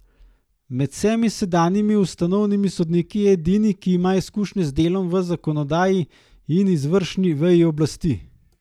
Med vsemi sedanjimi ustavnimi sodniki je edini, ki ima izkušnje z delom v zakonodajni in izvršni veji oblasti.